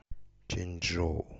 чэньчжоу